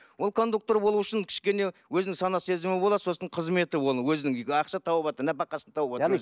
ол кондуктор болуы үшін кішкене өзінің сана сезімі болады сосын қызметі ол өзінің үйге ақша тауып отыр нәпақасын тауып отыр